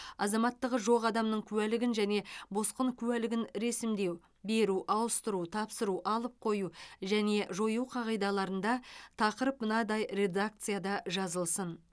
азаматтығы жоқ адамның куәлігін және босқын куәлігін ресімдеу беру ауыстыру тапсыру алып қою және жою қағидаларында тақырып мынадай редакцияда жазылсын